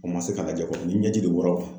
O ma se ka lajɛ kɔrɔ ni bɛ jigin kɔrɔn.